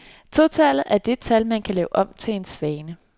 Totallet er det tal, man kan lave om til en svane.